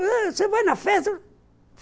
Você vai na festa?